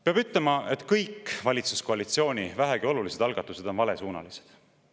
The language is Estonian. Peab ütlema, et kõik valitsuskoalitsiooni vähegi olulised algatused on valesuunalised.